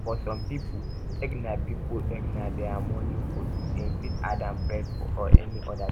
for some pipo egg na pipo egg na their morning food dem fit add am bread or any oda thing